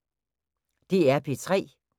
DR P3